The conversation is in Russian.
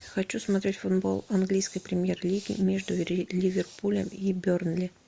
хочу смотреть футбол английской премьер лиги между ливерпулем и бернли